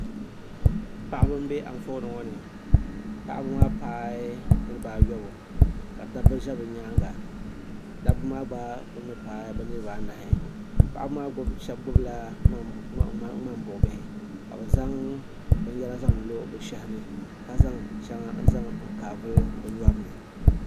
Paɣaba m-be anfooni ŋɔ ni paɣaba maa paai niriba ayɔbu ka dabba ʒi bɛ nyaaŋa dabba maa gba kuli ni paai bɛ niriba anahi paɣaba maa shɛba kpuɣila ŋmambuɣibihi ka bɛ zaŋ binyɛra zaŋ lo bɛ shɛhi ni ka zaŋ shɛba n-zaŋ kaavili bɛ nyɔri ni